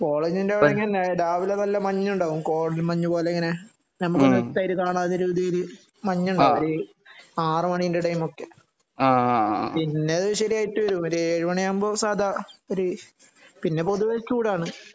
കോളേജ്ന്റെ അവിടെ രാവിലെ നല്ല മഞ്ഞ് ഉണ്ടാകും കോടമഞ്ഞ് പോലെ ഇങ്ങനെ നമുക്ക് മറ്റൊരുതെരെ കാണത്തെ രീതീല് മഞ്ഞ് ഉണ്ടാകും ഒര് ആർ മണിന്റെ ഇടെ ഒക്കെ പിന്നെ അതു ശരിയായിട്ട് വരും ഒരു ഏഴു മണി ആകുമ്പോ സദാ ഒരു പിന്നെ പൊതുവേ ചൂട് ആണ്